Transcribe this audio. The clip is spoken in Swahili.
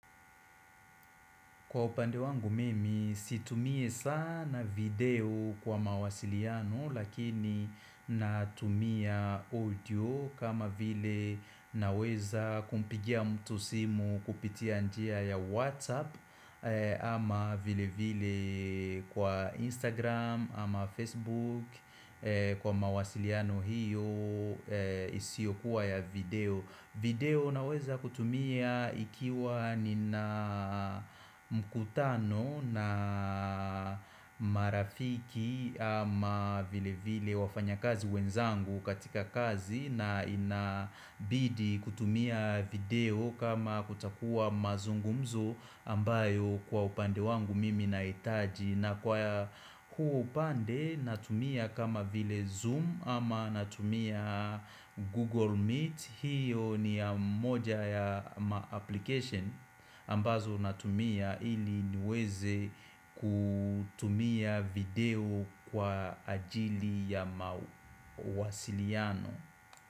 Kwa upande wangu mimi situmi sana video kwa mawasiliano lakini natumia audio kama vile naweza kumpigia mtu simu kupitia njia ya WhatsApp ama vile vile kwa Instagram ama Facebook kwa mawasiliano hiyo isiyokuwa ya video video naweza kutumia ikiwa nina mkutano na marafiki ama vile vile wafanya kazi wenzangu katika kazi na inabidi kutumia video kama kutakuwa mazungumzo ambayo kwa upande wangu mimi nahitaji na kwa huo upande natumia kama vile Zoom ama natumia Google Meet, hiyo ni ya moja ya ma-application ambazo natumia ili niweze kutumia video kwa ajili ya mawasiliano.